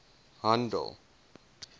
handel